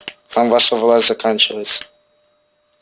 там ваша власть заканчивается